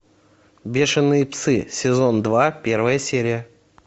бешеные псы сезон два первая серия